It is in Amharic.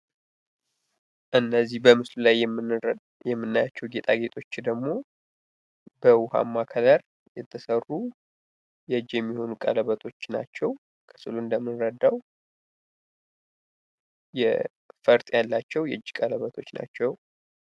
እነዚህ በምስሉ ላይ የምናያቸው ጌጣጌጦች ደግሞ በውሀማ ከለር የተሰሩ የእጅ የሚሆኑ ቀለበቶች ናቸው። ከምስሉ እንደምንረዳው የፈርጥ ያላቸው የእጅ ቀለበቶች ናቸው።